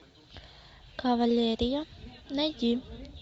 кавалерия найди